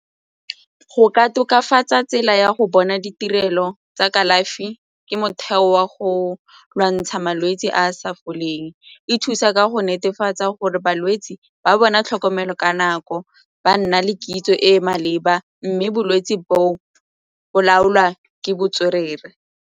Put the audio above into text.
Go ka tokafatsa tsela ya go bona ditirelo tsa kalafi ke motheo wa go lwantsha malwetse a a sa foleng, e thusa ka go netefatsa gore balwetse ba bona tlhokomelo ka nako ba nna le kitso e e maleba mme bolwetse boo bo laolwa ke botswerere.